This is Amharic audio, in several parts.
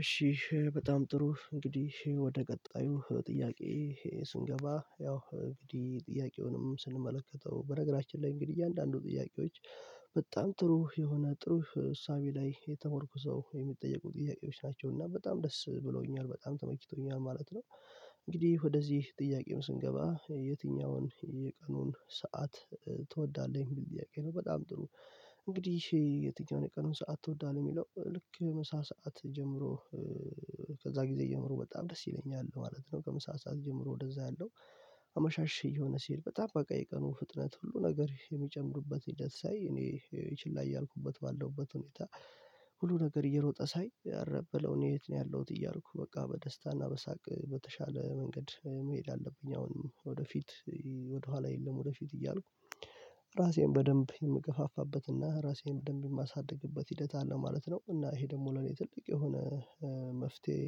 እሺ እሺ በጣም ጥሩ እንግዲህ ወደ ቀጣዩ ጥያቄ። ስንገባ ያው እንግዲህ ጥያቄውንም ስንመለከተው በነገራችን ላይ እንግዲህ እያንዳንዱ ጥያቄዎች በጣም ጥሩ የሆነ ጥሩ እሳቤ ላይ የተሞርኩዘው የሚጠየቁ ጥያቄዎች ናቸው እና በጣም ደስ ብሎኛል በጣም ተመችቶኛል ማለት ነው። እንግዲህ ወደዚህ ጥያቄም ስንገባ የትኛውን የቀኑን ሰዓት ትወዳለህ የሚል ጥያቄ ነው በጣም ጥሩ። እንግዲህ የትኛውን የቀኑን ሰዓት ትወዳለህ የሚለው ልክ ምሳ ሰዓት ጀምሮ ከዛ ጊዜ ጀምሮ በጣም ደስ ይለኛል ማለት ነው ከምሳ ሰዓት ጀምሮ ወደዛ ያለው። አመሻሽ እየሆነ ሲሄድ በጣም በቃ የቀኑ ፍጥነት ሁሉ ነገር የሚጨምሩበት ሂደት ሳይ እኔ ችላ ያልኩበት ባለውበት ሁኔታ። ሁሉ ነገር እየሮጠ ሳይ ኧረ በለው እኔ የት ነው ያለሁት እያልኩ በቃ በደስታና በሳቅ በተሻለ መንገድ መሄድ አለብኝ። አሁን ወደፊት ወደኋላ የለም። ወደፊት እያልኩ ራሴን በደንብ የምገፋፋበትና ራሴን በደንብ የማሳድግበት ሂደት አለ ማለት ነው። እና ይሄ ደግሞ ለኔ ትልቅ የሆነ መፍትሄ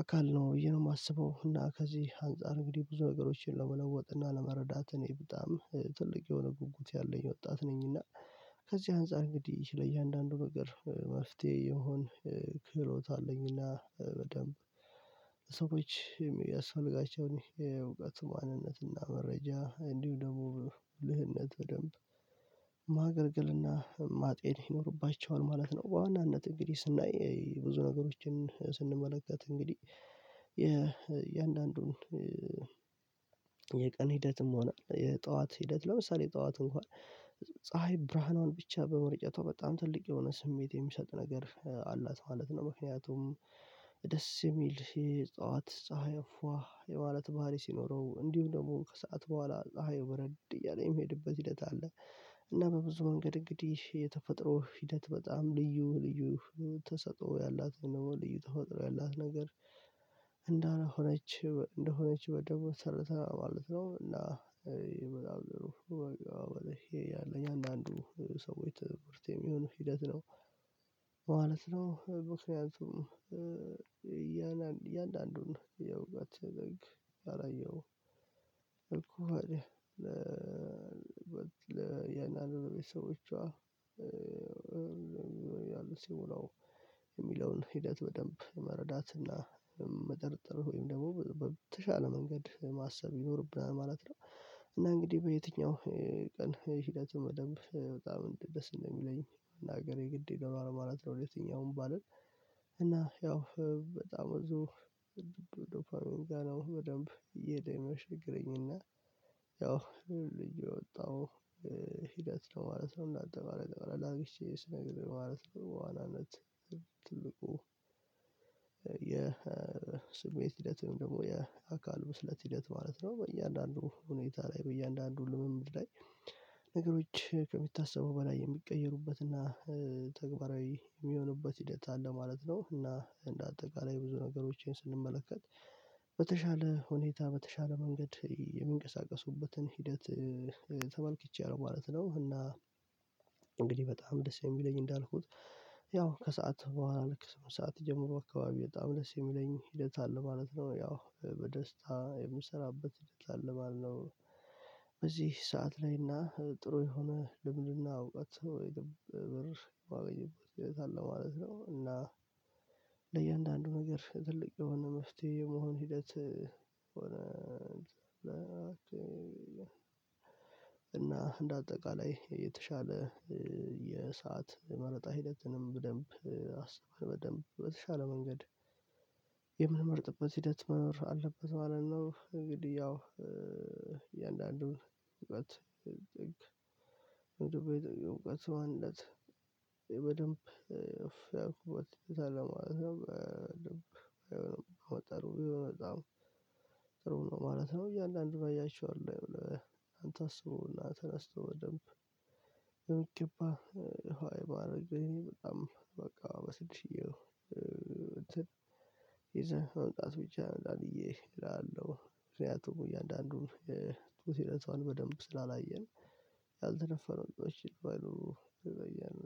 አካል ነው ብዬ ነው ማስበው። እና ከዚህ አንፃር እንግዲህ ብዙ ነገሮችን ለመለወጥ እና ለመረዳት እኔ በጣም ትልቅ የሆነ ጉጉት ያለኝ ወጣት ነኝና። ከዚህ አንፃር እንግዲህ ለእያንዳንዱ ነገር መፍትሄ የመሆን ክህሎት አለኝና በደንብ ሰዎች የሚያስፈልጋቸውን የእውቀት ማንነትና መረጃ እንዲሁ ደግሞ ብልህነት በደንብ ማገልገልና ማጤን ይኖርባቸዋል ማለት ነው። በዋናነት እንግዲህ ስናይ ብዙ ነገሮችን ስንመለከት እንግዲህ የእያንዳንዱን የቀን ሂደትም ሆነ የጠዋት ሂደት ለምሳሌ ጠዋት እንኳን ፀሀይ ብርሃኗን ብቻ በመርጨቷ በጣም ትልቅ የሆነ ስሜት የሚሰጥ ነገር አላት ማለት ነው። ምክንያቱም ደስ የሚል የጠዋት ፀሀይ ፏ የማለት ባህሪ ሲኖረው እንዲሁም ደግሞ ከሰአት በኋላ ፀሀዩ በረድ እያለ የሚሄድበት ሂደት አለ። እና በብዙ መንገድ እንግዲህ የተፈጥሮ ሂደት በጣም ልዩ ልዩ ተሰጥኦ ያላት ወይም ደግሞ ልዩ ተፈጥሮ ያላት ነገር እንደሆነች እንደሆነች ደግሞ ተረድተናል ማለት ነው። እና ይመላል ይሄ ያለኝ አንዳንዱ ሰዎች ትኩረት የሚሆን ሂደት ነው ማለት ነው። ምክያቱም እያ እያንዳንዱን ነው እያወጋችን አላየሁም እኮ አለ ለእያንዳንዱ ለቤተሰቦቿ ያሉ ሲሞላው የሚለውን ሂደት በደንብ መረዳት እና መጠርጠር ወይም ደግሞ በተሻለ መንገድ ማሰብ ይኖርብናል ማለት ነው። እና እንግዲህ በየትኛው ቀን ሂደቱን መደብ በጣም ደስ እንደሚለኝ እናገር የግድ ይለኛል ማለት ነው። የትኛውም ባልን እና ያው በጣም ቆን ዶፓሚን ጋር ነው። በደንብ እየሄደ ነው የሚያሸግረኝና ያው ልጅ የወጣው ሂደት ነው ማለት ነው። እንዳጠቃላይ አላግቼ ስነግር ማለት ነው። በኋላነት ትልቁ የስሜት ሂደት ወይም ደግሞ የአካል ብስለት ሂደት ማለት ነው። በእያንዳንዱ ሁኔታ ላይ በእያንዳንዱ ልምምድ ላይ ነገሮች ከሚታሰበው በላይ የሚቀየሩበት እና ተግባራዊ የሚሆንበት ሂደት አለ ማለት ነው። እና እንደ አጠቃላይ ብዙ ነገሮችን ስንመለከት በተሻለ ሁኔታ በተሻለ መንገድ የሚንቀሳቀሱበትን ሂደት ተመልክቻለሁ ማለት ነው። እና እንግዲህ በጣም ደስ የሚለኝ እንዳልኩት ያው ከሰአት በኋላ ልክ ስምንት ሰዓት ጀምሮ አካባቢ በጣም ደስ የሚለኝ ሂደት አለ ማለት ነው። ያው በደስታ የምሰራበት ሂደት አለ ባል ነው። በዚህ ሰዓት ላይና ጥሩ የሆነ ልምድና እውቀት ብር የማገኘበት ሆነታ አለ ማለት ነው። እና ለእያንዳንዱ ነገር ትልቅ የሆነ መፍትሄ የመሆን ሂደት ሆነ እና እንደ አጠቃላይ የተሻለ የሰዓት መረጣ ሂደትንም በደንብ አስቤ በደንብ በተሻለ መንገድ የምመርጥበት ሂደት አለ ማለት ነው። እንግዲህ ያው እያንዳንዱን እውቀት እውቀት ዋናነት በደንብ እፍ ያኩበት ሆኔታ አለ ማለት በደንብ አይሆንም በጣም በጣም ጥሩ ነው ማለት ነው። እያንዳንድን አይችኋለሁ አንተ አስቡህና ተነስቶ በደንብ በምገባህ ዋይ ባደረገኝ በጣም በቃ በስድሽዬው ይዘህ እንቃት ብቻ እንዳልዬ እላለሁ ምክንያቱም እያንዳንዱን ትውስት ህይወቷን በደንብ ስላላየን ያልተነፈነው ጥበብ ይሉ በየኔ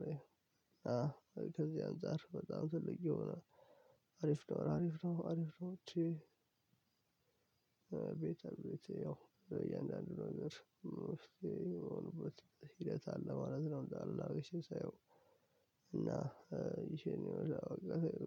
ከዚህ አንፃር በጣም ትልቅ ነው አሪፍ ነው አሪፍ ነው አሪፍ ነው። እቺ ቤተርቤቴ ያው እያንዳንዱ ነገር እስኪ የሆኑበት ሂደት አለ ማለት ነው። እና ይሄን ይሄን ነው እዛ በቃ